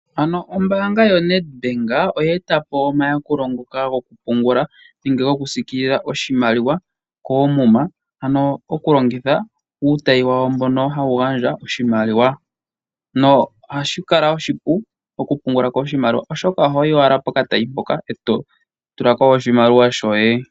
Ano ombanga yoNed Bank oye e tapo omayakulo ngoka gokupungula nenge gokusiikilila oshimaliwa koomuma ano okulongitha uutayi wawo mbono hawu gandja oshimaliwa noha shi kala oshipu okupungulako oshimaliwa oshoka oho yi owala pokatayi hoka e to tulako oshimaliwa shoye.